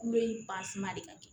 Kulo in de ka di